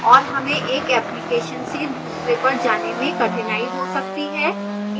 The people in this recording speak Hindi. और हमें एक application से दूसरे पर जाने में कठिनाई हो सकती है